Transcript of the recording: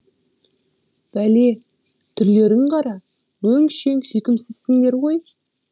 бәле түрлерін қара өңшең сүйкімсізсіңдер ғой